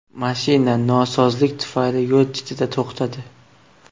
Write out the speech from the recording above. Mashina nosozlik tufayli yo‘l chetida to‘xtadi.